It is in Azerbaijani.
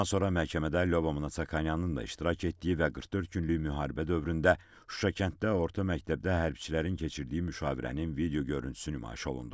Bundan sonra məhkəmədə Lyobomnonyanın da iştirak etdiyi və 44 günlük müharibə dövründə Şuşa kənddə orta məktəbdə hərbiçilərin keçirdiyi müşavirənin video görüntüsü nümayiş olundu.